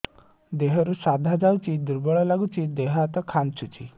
ଦେହରୁ ସାଧା ଯାଉଚି ଦୁର୍ବଳ ଲାଗୁଚି ଦେହ ହାତ ଖାନ୍ଚୁଚି